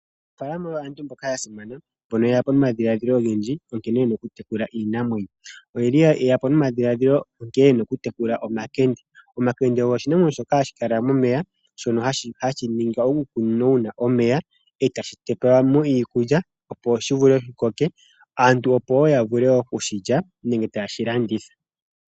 Aanafaalama oyo aantu mboka ya simana mbono yeya po nomadhilaadhilo ogendji onkene yena oku tekula iinamwenyo. Oyeli yeyapo nomadhilaadhilo nkene yena oku tekula omakende. Omakende ogo oshinamwenyo shoka hashi kala momeya shono hashi ningwa uukunino wuna omeya e tashi pewelwamo iikulya opo shi vule shi koke, aantu opo ya vule woo okushi lya nenge tashi landithwa.